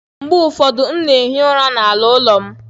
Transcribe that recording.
Mgbe ụfọdụ, m na-ehi ụra n'ala ụlọ m.